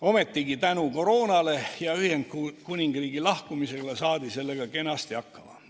Ometi saadi tänu koroonale ja Ühendkuningriigi lahkumisele sellega kenasti hakkama.